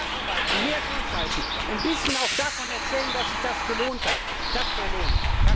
Mehr arbeiten, mehr durchhalten, ein bisschen auch davon erzählen, dass sich das gelohnt hat, das wäre lohnend!